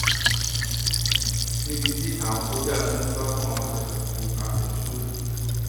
níbi tí àwọn sójà ti ń sá fún àwọn jàǹdùkú àfẹmíṣòfò